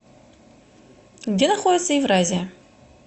где находится евразия